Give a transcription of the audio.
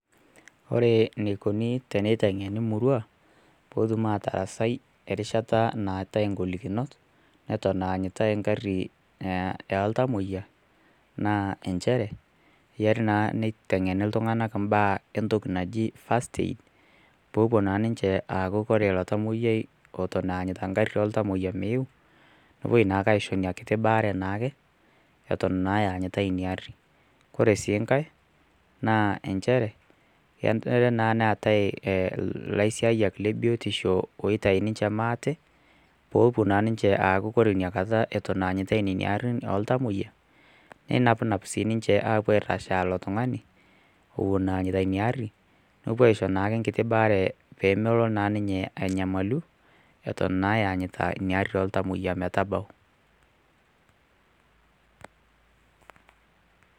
Kore neikoni teneiteng'eni murua pootum aatarasai erishata nataae naatae ngolikinot eton eanyitae nkari ee ltamoyia naa enchere keyiari naa neiteng'eni ltung'ana mbaaa e ntoki naji first aid popuo naa ninche aaku kore lo tamoyiai eton eanyita nkari ee ltamoyia meyeu nopuoi naake aisho nia kiti baare naake eton naa eanyitae nia arri. Kore sii nkae naa enchere kenere naa neatae laisiayiak le biotisho ooitai ninche maate poopuo naa ninche aaku kore nia kata eton eanyitae nenia arrin ee ltamoyia neinapnap sii ninche aapuo aairrashaa lo tung'ani ewuon eanyita niaa arri nepuo aaisho naake nkiti baare peemolo naa ninye anyamalu eton naa eanyita nia arri ee ltamoyia metabau.